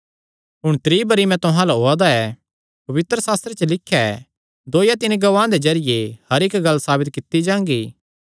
हुण त्री बरी मैं तुहां अल्ल ओआ दा ऐ पवित्रशास्त्रे च लिख्या ऐ दो या तीन गवाहां दे जरिये हर इक्क गल्ल साबित कित्ती जांगी